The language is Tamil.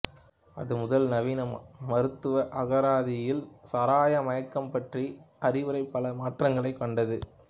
அது முதல் நவீன மருத்துவ அகராதியில் சாராய மயக்கம் பற்றிய அறிவுரை பல மாற்றங்களைக் கண்டது